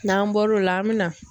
N'an bɔr'o la an bɛ na.